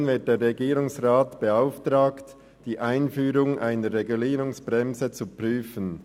Darin wird der Regierungsrat beauftragt, die Einführung einer Regulierungsbremse zu prüfen.